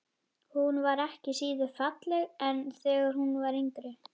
Hún var ekki síður falleg en þegar hún var yngri.